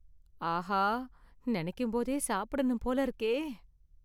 ஆஹா, நெனைக்கும் போதே சாப்பிடணும் போல இருக்கே.